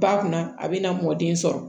Ba kunna a bɛna mɔgɔ den sɔrɔ